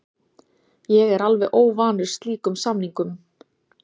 Ég er alveg óvanur slíkum samningum.